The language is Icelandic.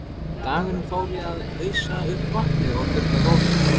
Dagurinn fór í að ausa upp vatni og þurrka gólfin.